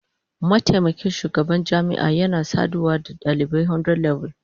Mataimakin shugaban jami'a yana saduwa da dalibi 100level